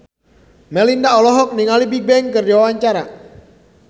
Melinda olohok ningali Bigbang keur diwawancara